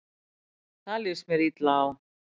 Það líst mér illa á.